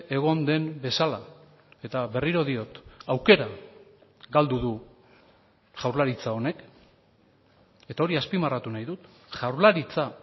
egon den bezala eta berriro diot aukera galdu du jaurlaritza honek eta hori azpimarratu nahi dut jaurlaritza